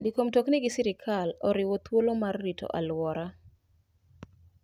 Ndiko mtokni gi sirkal oriwo thuolo mar rito alwora.